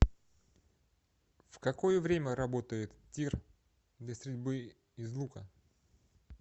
в какое время работает тир для стрельбы из лука